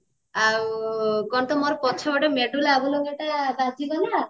ଆଉ କଣ ତ ମୋର ପଛପଟେଗୋଟେ ବାଜିଗଲା